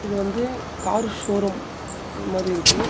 இது வந்து car showroom அது மாரி இருக்கு.